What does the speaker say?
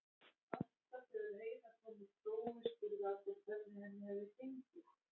Alltaf þegar Heiða kom úr prófi spurðu allir hvernig henni hefði gengið.